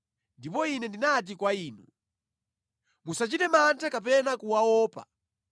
Ndipo ine ndinati kwa inu, “Musachite mantha kapena kuwaopa.